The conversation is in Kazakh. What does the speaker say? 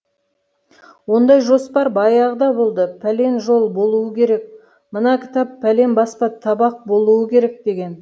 ондай жоспар баяғыда болды пәлен жол болуы керек мына кітап пәлен баспа табақ болуы керек деген